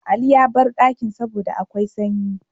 Ali yabar dakin saboda akwai sanyi